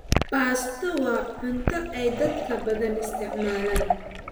Baasto waa cunto ay dadka badan isticmaalaan.